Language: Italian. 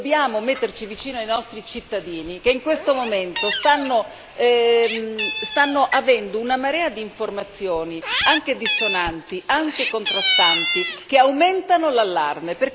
Dobbiamo metterci vicino ai nostri cittadini, che in questo momento ricevono una marea di informazioni, anche dissonanti e contrastanti che aumentano l'allarme.